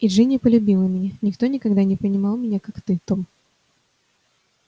и джинни полюбила меня никто никогда не понимал меня так как ты том